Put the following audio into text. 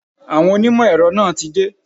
Àwọn onímọ̀ èrọ náà tí dé.